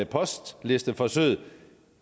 postlisteforsøget